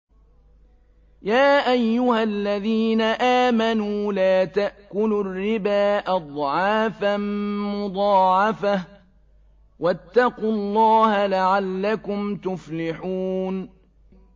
يَا أَيُّهَا الَّذِينَ آمَنُوا لَا تَأْكُلُوا الرِّبَا أَضْعَافًا مُّضَاعَفَةً ۖ وَاتَّقُوا اللَّهَ لَعَلَّكُمْ تُفْلِحُونَ